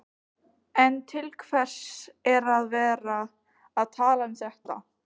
En til hvers er að vera að tala um þetta?